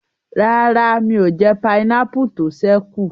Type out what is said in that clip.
Rárá, mi ò jẹ pineapple tó ṣẹ́ kù